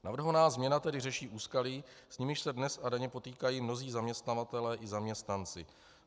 Navrhovaná změna tedy řeší úskalí, s nimiž se dnes a denně potýkají mnozí zaměstnavatelé i zaměstnanci.